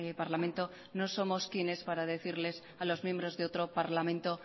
parlamento no somos quienes para decirles a los miembros de otro parlamento